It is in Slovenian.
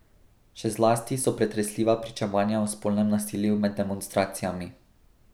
Še zlasti so pretresljiva pričevanja o spolnem nasilju med demonstracijami.